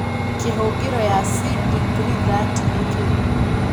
kĩhũngĩro ya sin degree 30 nĩ kĩĩ